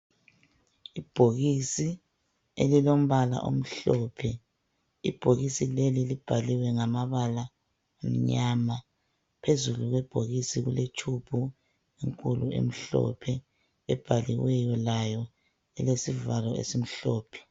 Ibhokisi elilombala omhlophe ibhokisi leli libhaliwe ngamabala amnyama phezulu kwebhokisi kuletshubhu enkulu emhlophe ebhaliweyo layo elesivalo esimhlophe.